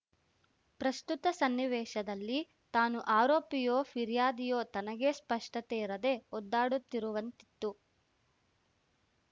ಪ್ರಸ್ತುತ ಸನ್ನಿವೇಶದಲ್ಲಿ ತಾನು ಆರೋಪಿಯೋ ಫಿರ್ಯಾದಿಯೋ ತನಗೇ ಸ್ಪಷ್ಟತೆ ಇರದೆ ಒದ್ದಾಡುತ್ತಿರುವಂತಿತ್ತು